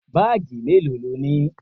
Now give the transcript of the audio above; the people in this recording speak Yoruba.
Báàgì melo lónìí?